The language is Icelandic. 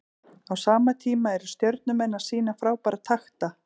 Á sama tíma eru Stjörnumenn að sýna frábæra takta.